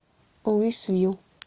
луисвилл